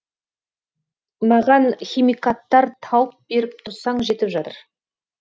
маған химикаттар тауып беріп тұрсаң жетіп жатыр